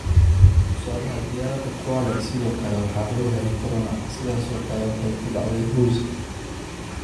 Tusaalaha diyaaradda Kwale sidoo kale waxaa lagu helay corona, sidaasoo kale waxay ku dhacday mbuzi.